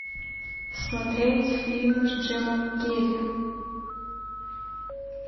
смотреть фильмы с джимом керри